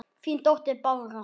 Þín dóttir Bára.